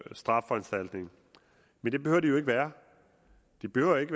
strafforanstaltning men det behøver de jo ikke være de behøver ikke